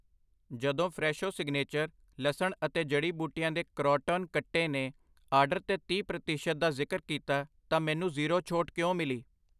ਜਦੋਂ Fresho signature, ਲਸਣ ਅਤੇ ਜੜੀ ਬੂਟੀਆਂ ਦੇ ਕਰੌਟੌਨ ਕੱਟੇ ਨੇ ਆਰਡਰ 'ਤੇ ਤੀਹ ਪ੍ਰਤੀਸ਼ਤ ਦਾ ਜ਼ਿਕਰ ਕੀਤਾ ਤਾਂ ਮੈਨੂੰ ਜ਼ੀਰੋ ਛੋਟ ਕਿਉਂ ਮਿਲੀ